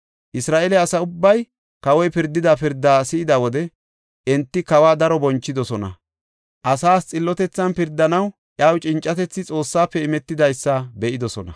Isra7eele asa ubbay kawoy pirdida pirdaa si7ida wode, enti kawa daro bonchidosona. Asaas xillotethan pirdanaw iyaw cincatethi Xoossafe imetidaysa be7idosona.